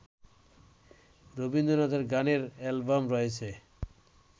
রবীন্দ্রনাথের গানের অ্যালবাম রয়েছে